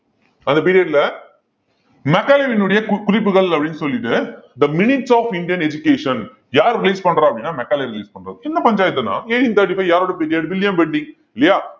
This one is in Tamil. அந்த period ல மெக்காலேவியினுடைய கு~ குறிப்புகள் அப்படின்னு சொல்லிட்டு the minutes of Indian education யாரு release பண்றா அப்படின்னா மெக்காலே release பண்றாரு என்ன பஞ்சாயத்துன்னா eighteen thirty-five யாரோட period வில்லியம் பெண்டிங் இல்லையா